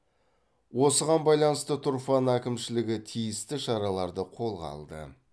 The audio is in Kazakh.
осыған байланысты тұрфан әкімшілігі тиісті шараларды қолға алды